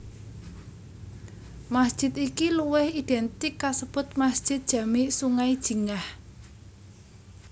Masjid iki luwih identik kasebut Masjid Jami Sungai Jingah